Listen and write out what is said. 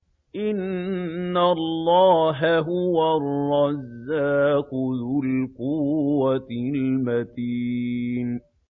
إِنَّ اللَّهَ هُوَ الرَّزَّاقُ ذُو الْقُوَّةِ الْمَتِينُ